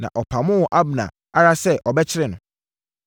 na ɔpamoo Abner ara sɛ, ɔbɛkyere no.